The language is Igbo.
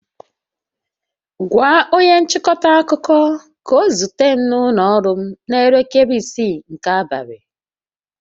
Gwa onye nchịkọta akụkọ ka ọ zute m n'ụlọ ọrụ m n'elekere isii nke abalị!